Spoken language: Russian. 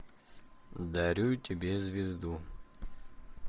дарю тебе звезду